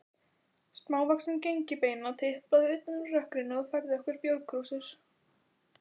Smávaxin gengilbeina tiplaði utan úr rökkrinu og færði okkur bjórkrúsir.